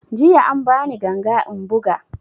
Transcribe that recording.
Jiya an ba ni ganga in buga